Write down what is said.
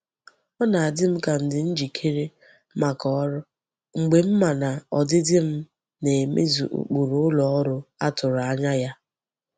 Ọ na adị m ka m dị njikere maka ọrụ mgbe m ma na ọdịdị m na emezu ụkpụrụ ụlọ ọrụ a tụrụ anya ya.